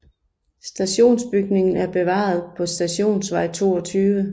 Stationsbygningen er bevaret på Stationsvej 22